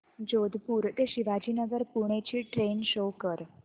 जोधपुर ते शिवाजीनगर पुणे ची train show कर